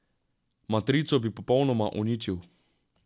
Matrico bi popolnoma uničil.